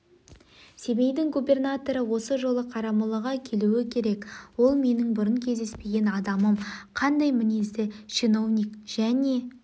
семейдің губернаторы осы жолы қарамолаға келуі керек ол менің бұрын кездеспеген адамым қандай мінезді чиновник және